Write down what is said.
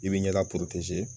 I bɛ ɲɛda